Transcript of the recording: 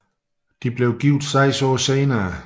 De blev gift seks år senere